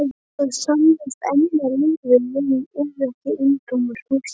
Það sannast enn að lífið er ekki eintómar hugsjónir.